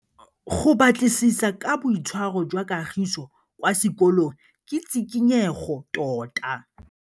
Go batlisisa ka boitshwaro jwa Kagiso kwa sekolong ke tshikinyêgô tota.